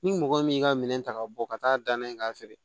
Ni mɔgɔ min y'i ka minɛn ta ka bɔ ka taa danna yen k'a feere